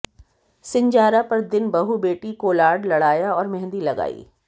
सिंजारा पर दिन बहू बेटी कोलाड लड़ाया और मेहंदी लगाई